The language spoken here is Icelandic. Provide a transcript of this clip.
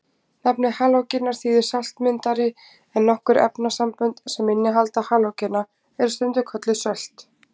Nafnið halógenar þýðir saltmyndari en nokkur efnasambönd sem innihalda halógena eru stundum kölluð sölt.